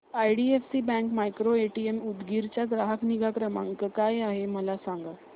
IDFC bank micro ATM Udgir चा ग्राहक निगा क्रमांक काय आहे सांगा